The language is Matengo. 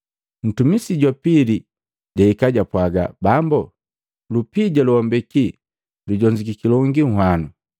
Ntumisi ja pili jahika japwaaga, ‘Bambo, lupija lowambeki lujonzukiki longi nhwano.’